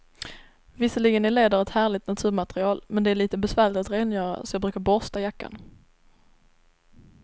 Visserligen är läder ett härligt naturmaterial, men det är lite besvärligt att rengöra, så jag brukar borsta jackan.